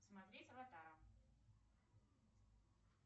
смотреть аватара